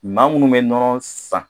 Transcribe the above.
Maa minnu bɛ nɔnɔ san